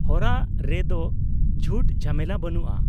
-ᱦᱚᱨᱟ ᱨᱮᱫᱚ ᱡᱷᱩᱴ ᱡᱷᱟᱢᱮᱞᱟ ᱵᱟᱹᱱᱩᱜᱼᱟ ᱾